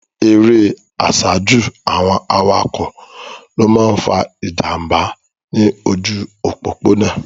Erè àsájù àwọn awakọ̀ ló máa ń fa ìjànbá ní ojú òpópónà.